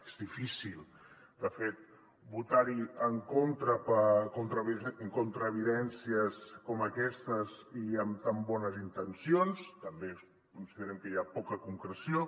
és difícil de fet votar en contra evidències com aquestes i amb tan bones intencions també considerem que hi ha poca concreció